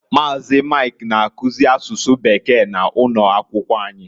Maazi, Mike na-akuzi asụsụ Bekee na ụno akwụkwọ anyị.